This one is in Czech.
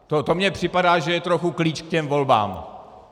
To mně připadá, že je trochu klíč k těm volbám.